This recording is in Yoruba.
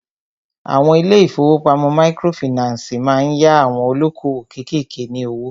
Àwọn ilé ìfọwọ́pamo microfinancii má ń yá àwon olókoòwò kékèké ní owó.